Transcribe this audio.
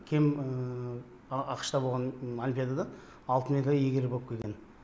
кем ақш та болған олимпиададан алтын медаль иегері болып келген